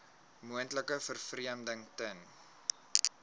moontlike vervreemding ten